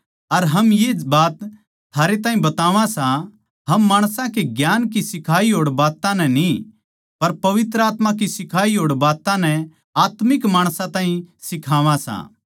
अर हम ये बात थारे ताहीं बतावां सां हम माणसां के ज्ञान की सिखाई होड़ बात्तां नै न्ही पर पवित्र आत्मा की सिखाई होड़ बात्तां नै आत्मिक माणसां ताहीं सिखावा सां